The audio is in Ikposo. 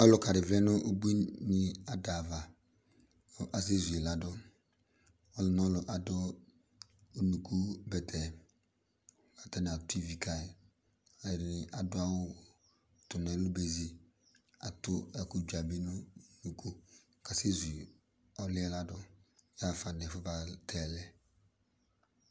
Ɔlʋka di vlɛ nʋ ubuini adava kʋ asɛzu yi ladʋ Ɔlʋ n'ɔlʋ adʋ unuku bɛtɛ, atani atʋ ivi ka yi, ɛdini adʋ awʋ tʋ n'ɛlʋ bezi, adʋ ɛkʋ dzua bi nʋ unuku k'asɛzu ɔlʋ yɛ ladʋ hafa n'ɛfʋ mate yi lɛ